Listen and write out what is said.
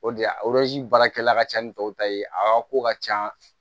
O de a baarakɛla ka ca ni tɔw ta ye aa ko ka ca